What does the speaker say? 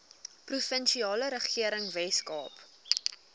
provinsiale regering weskaap